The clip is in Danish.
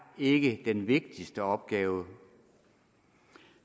ikke er den vigtigste opgave